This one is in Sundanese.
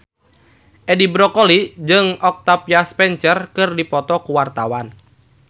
Edi Brokoli jeung Octavia Spencer keur dipoto ku wartawan